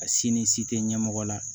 A si ni si tɛ ɲɛmɔgɔ la